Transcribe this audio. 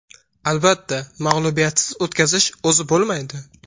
Albatta, mag‘lubiyatsiz o‘tkazish o‘zi bo‘lmaydi.